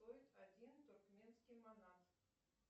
стоит один туркменский монат